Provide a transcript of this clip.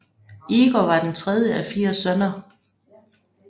Igor var den tredje af fire sønner